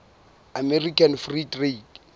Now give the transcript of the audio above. american free trade